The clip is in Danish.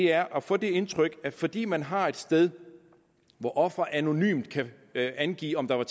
er at få det indtryk at fordi man har et sted hvor offeret anonymt kan angive om der er